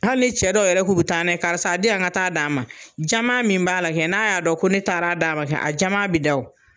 Hali ni cɛ dɔw yɛrɛ ko k'u bi taa n'a ye karisa a di yan n ka taa d'a ma. Jama min b'a la kɛ , n'a y'a dɔn ko ne taara' d'a ma kɛ a jama bi da wo.